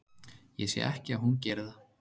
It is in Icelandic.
Ég sé ekki að hún geri það.